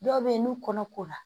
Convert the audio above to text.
Dɔw bɛ yen n'u kɔnɔkora